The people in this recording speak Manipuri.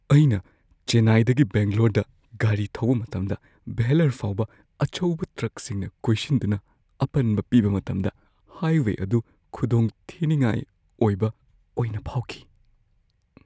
ꯑꯩꯅ ꯆꯦꯟꯅꯥꯏꯗꯒꯤ ꯕꯦꯡꯒꯂꯣꯔꯗ ꯒꯥꯔꯤ ꯊꯧꯕ ꯃꯇꯝꯗ ꯚꯦꯜꯂꯣꯔ ꯐꯥꯎꯕ ꯑꯆꯧꯕ ꯇ꯭ꯔꯛꯁꯤꯡꯅ ꯀꯣꯏꯁꯤꯟꯗꯨꯅ ꯑꯄꯟꯕ ꯄꯤꯕ ꯃꯇꯝꯗ ꯍꯥꯏꯋꯦ ꯑꯗꯨ ꯈꯨꯗꯣꯡꯊꯤꯅꯤꯡꯉꯥꯏ ꯑꯣꯏꯕ ꯑꯣꯏꯅ ꯐꯥꯎꯈꯤ꯫